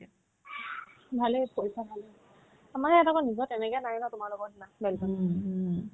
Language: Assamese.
ভালে কৰিছা ভালে আমাৰ ইয়াত আকৌ নিজৰ তেনেকে নাই নহয় তোমালোকৰ নিচিনা